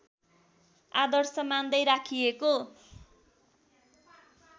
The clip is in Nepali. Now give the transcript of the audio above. आदर्श मान्दै राखिएको